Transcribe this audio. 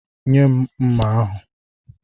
Nye m mma ahụ!